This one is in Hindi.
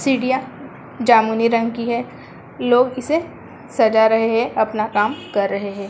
सीढ़ियाँ जामुनी रंग की है लोक इसे सजा रहे हैं। अपना काम कर रहे हैं।